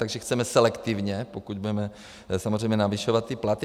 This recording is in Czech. Takže chceme selektivně, pokud budeme samozřejmě navyšovat ty platy.